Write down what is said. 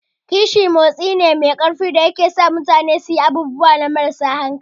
Kishi motsi ne mai ƙarfi wanda zai iya sa mutane su yi abubuwa marasa hankali.